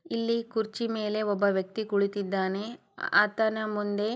ಇಲ್ಲಿ ಕುರ್ಚಿಮೇಲೆ ಒಬ್ಬ ವ್ಯಕ್ತಿ ಕುಳಿತಿದ್ದಾನೆ ಅ-ಆತನ ಮುಂದೆ --